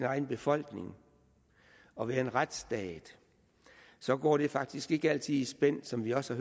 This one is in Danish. egen befolkning og er en retsstat så går det faktisk ikke altid i spænd som vi også